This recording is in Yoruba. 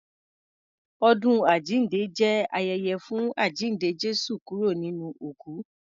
Ọdún àjínde jẹ́ ayẹyẹ fún àjínde Jésù kúrò nínú òkú.